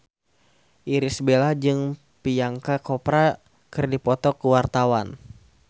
Irish Bella jeung Priyanka Chopra keur dipoto ku wartawan